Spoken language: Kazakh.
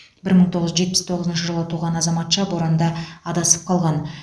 бір мың тоғыз жүз жетпіс тоғызыншы жылы туған азаматша боранда адасып қалған